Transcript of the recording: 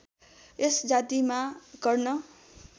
यस जातिमा कर्ण